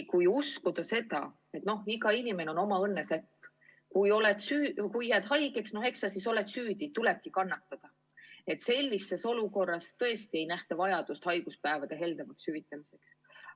Kui uskuda seda, et iga inimene on oma õnne sepp – kui jääd haigeks, eks sa siis oled süüdi, tulebki kannatada –, siis tõesti nagu pole vajadust haiguspäevade heldemaks hüvitamiseks.